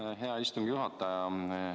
Aitäh, hea istungi juhataja!